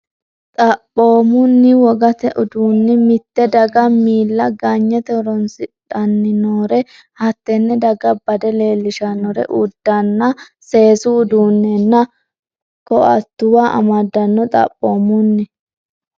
Xaphoomunni, wogate uduunni mitte daga miilla ganyite horoonsidhan- nori hattenne daga bade leellishannore uddanna, seesu uduunnenna koat- tuwa amadanno Xaphoomunni,.